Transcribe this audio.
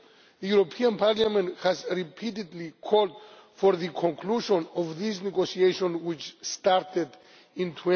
The European Parliament has repeatedly called for the conclusion of this negotiation, which started in